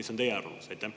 Mis on teie arvamus?